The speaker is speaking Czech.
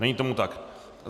Není tomu tak.